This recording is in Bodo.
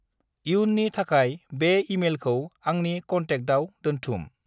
इयुननि थाखाय बे इमेलखौ आंनि कन्टेकआव दोन्थुम।